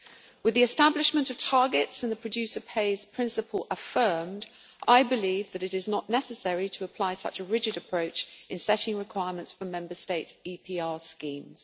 With the establishment of targets in the producer pays' principle affirmed, I believe that it is not necessary to apply such a rigid approach in setting requirements for Member States' EPR schemes.